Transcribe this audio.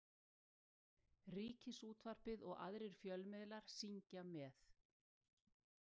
Ríkisútvarpið og aðrir fjölmiðlar syngja með.